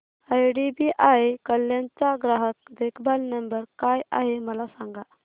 IDBI Kalyan चा ग्राहक देखभाल नंबर काय आहे मला सांगा